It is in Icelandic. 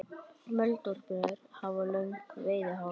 Moldvörpur hafa löng veiðihár.